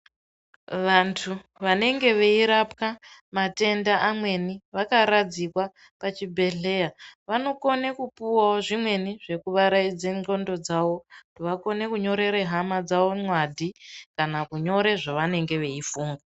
Vantu vanenge veyirapwa matenda amweni, vakaradzikwa pachibhedhleya, vanokone kupuwawo zvimweni zvekuvaraidze ngxondo dzavo vakone kunyorere hhama dzavo ngwadi kana kunyore zvavanenge veyifuna.